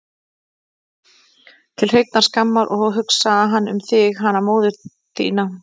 Til hreinnar skammar, og hugsaði hann um þig, hana móður sína?